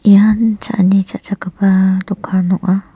ian cha·ani cha·chakgipa dokan ong·a.